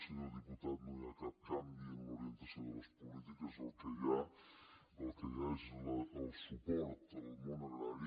senyor diputat no hi ha cap canvi en l’orientació de les polítiques el que hi ha és el suport al món agrari